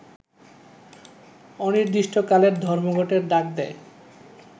অনির্দিষ্টকালের ধর্মঘটের ডাক দেয়